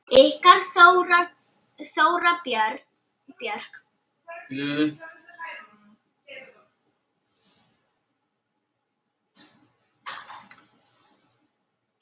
Ykkar Þóra Björk.